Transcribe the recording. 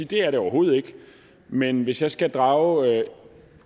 det er det overhovedet ikke men hvis jeg skal drage